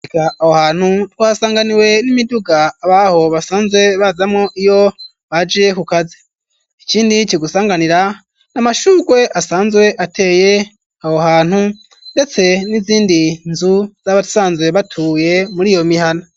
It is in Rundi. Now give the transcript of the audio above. Aho hantu twasanganiwe n'imiduga abaho basanzwe bazamwo iyo baje kukazi, ikindi kigusanganira n'amashugwe asanzwe ateye aho hantu ndetse n'izindi nzu z'abasanzwe batuye muri iyo mihana.